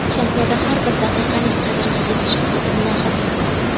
Shahzoda har bir daqiqaning qadriga yetish haqida mulohaza yuritdi.